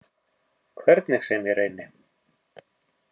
Hvernig sem ég reyni.